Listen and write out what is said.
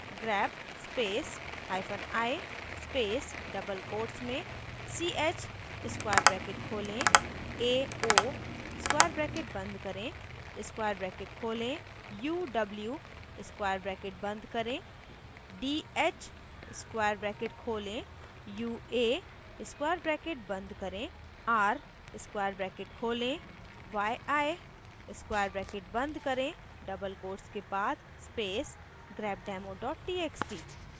grep space hyphen i space double quotes में ch square bracket खोलें ao square bracket बंद करें square bracket खोलें uw square bracket बंद करें dh square bracket खोलें ua square bracket बंद करें r square bracket खोलें yi square bracket बंद करें double quotes के बाद space grepdemo txt